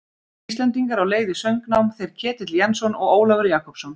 Íslendingar á leið í söngnám, þeir Ketill Jensson og Ólafur Jakobsson.